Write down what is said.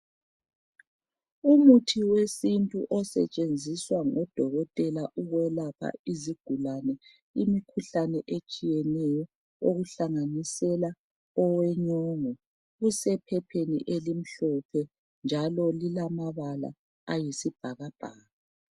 Umuthi wesintu osetshenziswa ngodokotela ukwelapha izigulane imikhuhlane etshiyeneyo okuhlanganisela owenyongo usephepheni elimhlophe njalo lilamabala ayisibhakabhaka.